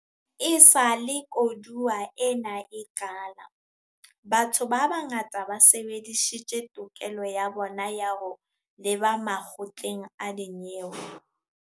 Esale koduwa ena e qala, batho ba bangata ba sebedisitse tokelo ya bona ya ho leba makgotleng a dinyewe.